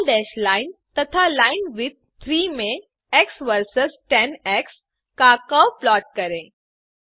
लाल dash line तथा linewidth 3 में x versus tan का कर्व प्लॉट करें